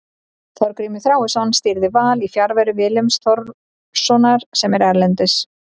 Þorgrímur Þráinsson stýrði Val í fjarveru Willums Þórssonar sem er erlendis.